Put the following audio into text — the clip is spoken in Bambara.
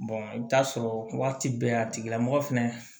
i bɛ taa sɔrɔ waati bɛɛ a tigilamɔgɔ fɛnɛ